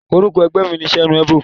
Orúkọ ẹgbẹ́ mi ni Senuebo.